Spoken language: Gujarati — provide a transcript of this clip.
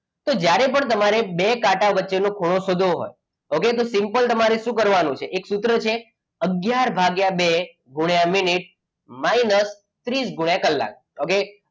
તો જ્યારે પણ તમારે બે કાંટા વચ્ચેનો ખૂણો શોધવો હોય okay તો સિમ્પલ તમારે શું કરવાનું છે કે એક સૂત્ર છે અગિયાર ભાગ્યા બે ગુણ્યા મિનિટ minus ત્રીસ ગુણ્યા કલાક okay?